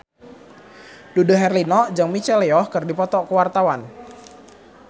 Dude Herlino jeung Michelle Yeoh keur dipoto ku wartawan